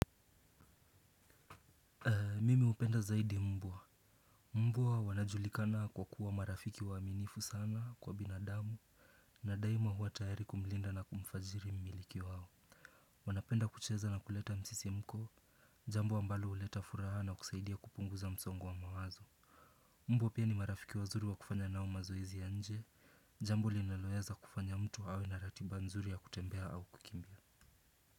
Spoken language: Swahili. Mimi hupenda zaidi mbwa. Mbwa wanajulikana kwa kuwa marafiki waaminifu sana kwa binadamu. Na daima huwa tayari kumlinda na kumfajiri mmiliki wao. Wanapenda kucheza na kuleta msisimko. Jambo ambalo huleta furaha na kusaidia kupunguza msongo wa mawazo. Mbwa pia ni marafiki wazuri wa kufanya nao mazoezi ya nje. Jambo linaloweza kufanya mtu awe na ratiba nzuri ya kutembea au kukimbia.